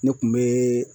Ne kun be